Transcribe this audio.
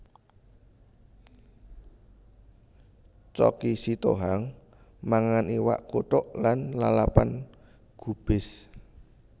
Choky Sitohang mangan iwak kuthuk lan lalapan gubis